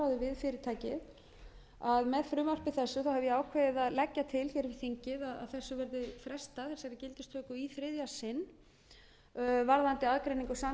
þingið að þessu verði frestað þessari gildistöku í þriðja sinn varðandi aðgreiningu samkeppnis og sérleyfisþátta í rekstri